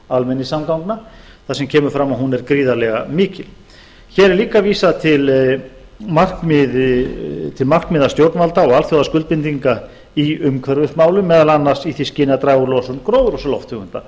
almenningssamgangna þar sem kemur fram að hún er gríðarlega mikil hér er líka vísað til markmiða stjórnvalda og alþjóðaskluldbilndilnga í í umhverfismálum meðal annars í því skyni að draga úr losun gróðurhúsalofttegunda